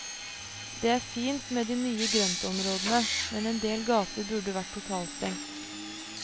Det er fint med de nye grøntområdene, men en del gater burde vært totalstengt.